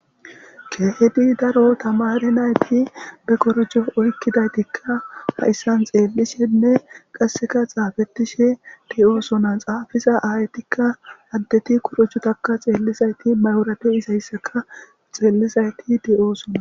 Kehedi daro tamare nayti be korijo oykkidaytikka haissan xeellishenne qasseka xaafetishe di7oosona xaafiza aaytikka addeti korucutaka xeellizayti mayora deizayssaka xeellizayti di7oosona